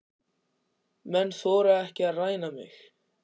Menn þora ekki að ræna mig.